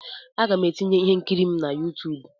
Aga m etinye ihe nkiri m na YouTube.